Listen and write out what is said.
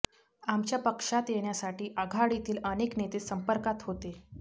आमच्या पक्षात येण्यासाठी आघाडीतील अनेक नेते संपर्कात होते